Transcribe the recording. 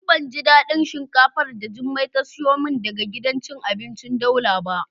Ni ban ji dadin shinkafar da jummai ta siyo min daga gidan cin abinci daula ba.